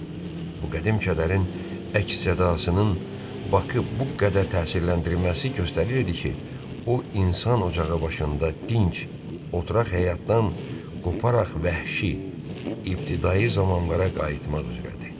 Bu qədim kədərin əks-sədasının Bak-ı bu qədər təsirləndirməsi göstərirdi ki, o insan ocağı başında dinc, oturaq həyatdan qoparaq vəhşi, ibtidai zamanlara qayıtmaq üzrədir.